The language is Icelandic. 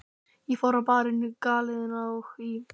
Ég fór á Barinn, á Galeiðuna og í